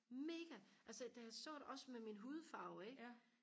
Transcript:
mega altså da jeg så det også med min hudfarve ikke